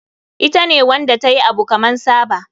Ita ne Wanda tayi Abu kaman Saba.